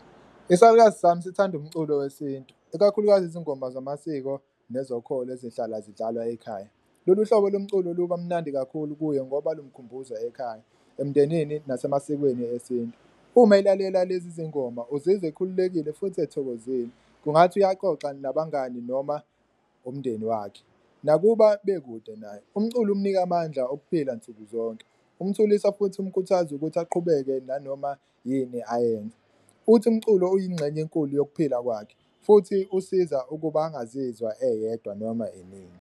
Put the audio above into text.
Isalukazi sami sithanda umculo wesintu ikakhulukazi izingoma zamasiko nezokholo ezihlala zidlalwa ekhaya, lolu hlobo lomculo luba mnandi kakhulu kuye ngoba lumkhumbuza ekhaya, emndenini nasemasikweni esintu. Uma elalela lezi zingoma uzizwa ekhululekile futhi ethokozile kungathi uyaxoxa nabangani noma umndeni wakhe nakuba bekude naye, umculo umnika amandla okuphila nsuku zonke, umthulisa futhi umkhuthaza ukuthi aqhubeke nanoma yini ayenze. Futhi umculo uyingxenye enkulu yokuphila kwakhe futhi usiza ukuba engazizwa eyedwa noma inini.